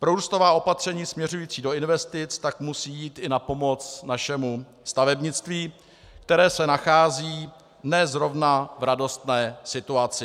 Prorůstová opatření směřující do investic tak musí jít i na pomoc našemu stavebnictví, které se nachází ne zrovna v radostné situaci.